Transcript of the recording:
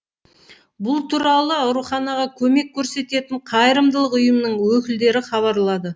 бұл туралы ауруханаға көмек көрсететін қайырымдылық ұйымның өкілдері хабарлады